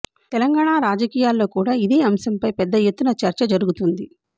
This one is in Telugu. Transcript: తెలంగాణ రాజకీయాల్లో కూడా ఇదే అంశంపై పెద్ద ఎత్తున చర్చ జరగుతోంది